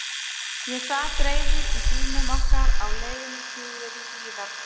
Ég sat reiður í bílnum okkar á leið suður í Hlíðar.